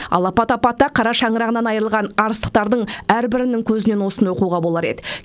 алапат апатта қара шаңырағынан айырылған арыстықтардың әрбірінің көзінен осыны оқуға болар еді